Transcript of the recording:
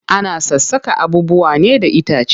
Ana sassaka abubuwa ne da itace.